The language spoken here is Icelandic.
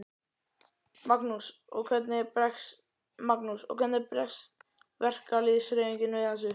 Magnús: Og hvernig bregst verkalýðshreyfingin við þessu?